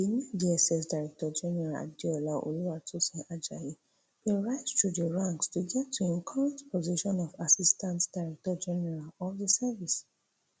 di new dss directorgeneral adeola oluwatosin ajayi bin rise through di ranks to get to im current post of assistant directorgeneral of di service